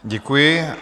Děkuji.